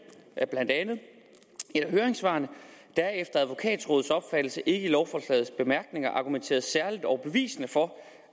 blandt andet i et af høringssvarene der er efter advokatrådets opfattelse ikke i lovforslagets bemærkninger argumenteret særligt overbevisende for